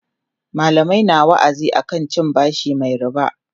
mallamai na wa'azi akan cin bashi Mai ribaa